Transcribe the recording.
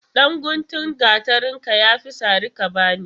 Ɗan guntun gatarin ka ya fi sari ka bani.